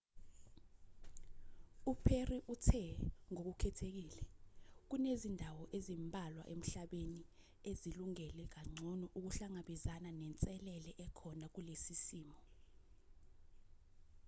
u-perry uthe ngokukhethekile kunezindawo ezimbalwa emhlabeni ezilungele kangcono ukuhlangabezana nenselele ekhona kulesi simo